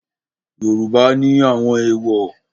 Yoruba ni àwọn èwò.